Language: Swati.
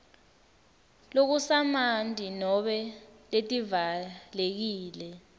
lokusamanti nobe letivalekile